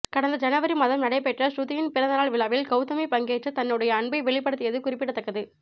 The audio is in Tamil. கடந்த ஜனவரி மாதம் நடைபெற்ற ஸ்ருதியின் பிறந்த நாள் விழாவில் கௌதமி பங்கேற்று தன்னுடைய அன்பை வெளிப்படுத்தியது குறிப்பிடத்தக்கது